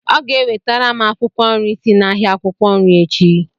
Ọ ga-ewetara m akwụkwọ nri si n'ahịa akwukwo nri echi.